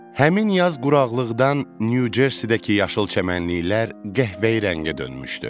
Həmin yaz quraqlıqdan Nyu-Cersidəki yaşıl çəmənliklər qəhvəyi rəngə dönmüşdü.